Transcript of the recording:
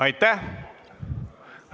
Aitäh!